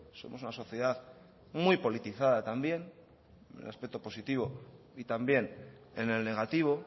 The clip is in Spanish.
somos una sociedad muy politizada también en el aspecto positivo y también en el negativo